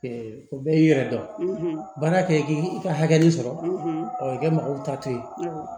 o bɛɛ y'i yɛrɛ dɔn baara kɛ k'i ka hakɛ min sɔrɔ i kɛ mɔgɔw ta to yen